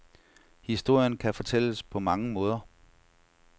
Historien kan fortælles på mange måder.